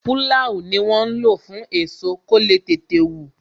Pulau ni wọn ń lo fún èso, kó le tètè wù